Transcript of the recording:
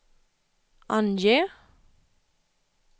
ange